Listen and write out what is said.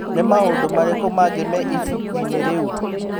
Nĩ maũndũ marĩkũ mangĩ me ibuku-inĩ rĩu?